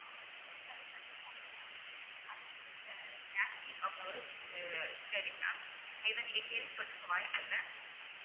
அது ஒரு பொருட்டாவே மதிக்கமாட்டைங்கறாங்க அடுத்தது ஒரு செடி mam இதை நீங்க கேள்விப்பட்டிருக்க வாய்ப்பில்ல